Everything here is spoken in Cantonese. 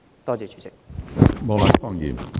多謝主席。